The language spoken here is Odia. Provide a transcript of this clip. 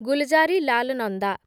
ଗୁଲଜାରିଲାଲ ନନ୍ଦା